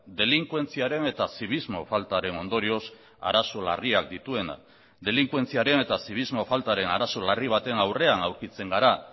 delinkuentziaren eta zibismo faltaren ondorioz arazo larriak dituena delinkuentziaren eta zibismo faltaren arazo larri baten aurrean aurkitzen gara